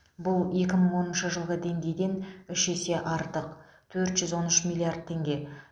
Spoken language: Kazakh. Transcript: бұл екі мың оныншы жылғы деңгейден үш есе артық төрт жүз он үш миллиард теңге